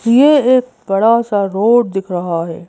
ये एक बड़ा सा रोड दिख रहा है।